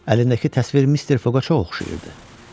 Əlindəki təsvir Mister Foga çox oxşayırdı.